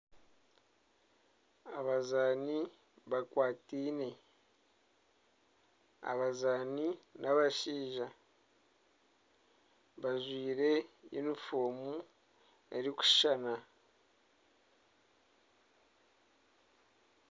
Abazani bakwateine. Abazaani n'abashija, bajwire yunifoomu erikushushana.